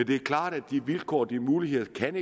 det er klart at de vilkår og de muligheder ikke kan